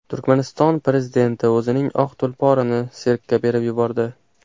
Turkmaniston prezidenti o‘zining oq tulporini sirkka berib yubordi.